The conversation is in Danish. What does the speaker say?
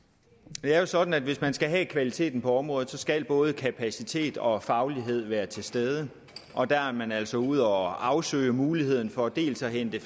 det er jo sådan at hvis man skal have kvaliteten på området skal både kapacitet og faglighed være til stede og der er man altså ude at afsøge muligheden for dels at hente